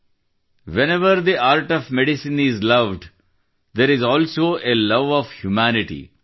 wherever the art of medicine is loved there is also a love of humanity